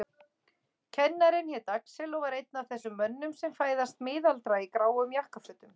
Kennarinn hét Axel og var einn af þessum mönnum sem fæðast miðaldra í gráum jakkafötum.